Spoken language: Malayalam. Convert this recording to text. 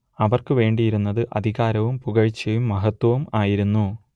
അവർക്കുവേണ്ടിയിരുന്നത് അധികാരവും പുകഴ്ച്ചയും മഹത്ത്വവും ആയിരുന്നു